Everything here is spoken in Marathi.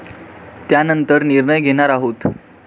त्यानंतर निर्णय घेणार आहोत.